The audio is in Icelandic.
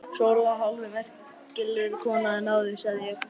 Sóla hálfu merkilegri kona en áður, sagði ég.